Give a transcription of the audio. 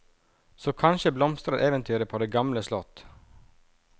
Så kanskje blomstrer eventyret på det gamle slott.